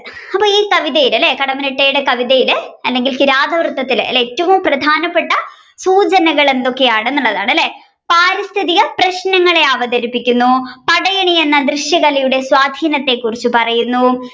അപ്പൊ ഈ കവിതയിൽ അല്ലെ കടമ്മനിട്ടയുടെ കവിതയിൽ അല്ലെങ്കിൽ കിരാതവൃത്തത്തിൽ ഏറ്റവും പ്രധാനപ്പെട്ട സൂചനകൾ എന്തൊക്കെയാണെന്നെള്ളതാണ് അല്ലെ പാരിസ്ഥിതിക പ്രശ്നങ്ങളെ അവതരിപ്പിക്കുന്നു പടയണി എന്ന ദൃശ്യ കലയുടെ സ്വാധിനത്തെ കുറിച്ച് പറയുന്നു.